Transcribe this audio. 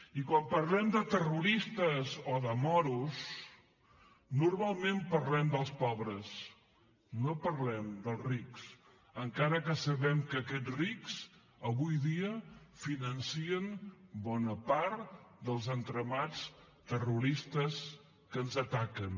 i quan parlem de terroristes o de moros normalment parlem dels pobres no parlem dels rics encara que sabem que aquests rics avui dia financen bona part dels entramats terroristes que ens ataquen